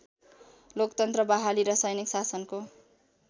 लोकतन्त्र बहाली र सैनिक शासनको